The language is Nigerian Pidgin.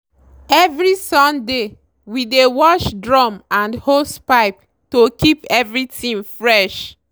every sunday we dey wash drum and hosepipe to keep everything fresh.